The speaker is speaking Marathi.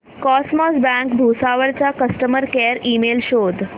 कॉसमॉस बँक भुसावळ चा कस्टमर केअर ईमेल शोध